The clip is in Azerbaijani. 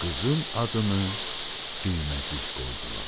Qızın adını Düyməcik qoydular.